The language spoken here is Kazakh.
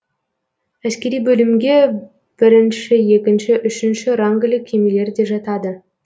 әскери бөлімге бірінші екінші үшінші рангілі кемелер де жатады